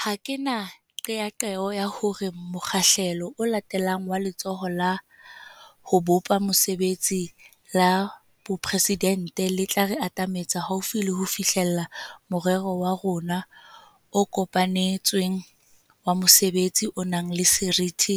Ha ke na qeaqeo ya hore mokgahlelo o latelang wa Letsholo la ho Bopa Mesebetsi la Boporesidente le tla re atametsa haufi le ho fihlella morero wa rona o kopane tsweng wa mosebetsi o nang le seriti